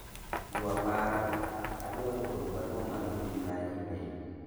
ywa paro, adwaro oro barua mar mbui mar email